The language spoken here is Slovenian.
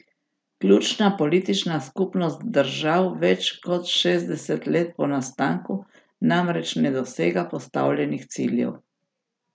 Ključna politična skupnost držav več kot šestdeset let po nastanku namreč ne dosega postavljenih ciljev.